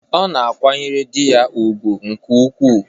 Ọ na-akwanyere di ya ùgwù nke ukwuu.